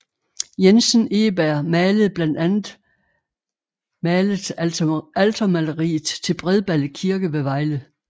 Jensen Egeberg malede blandt andet malet altermaleriet til Bredballe Kirke ved Vejle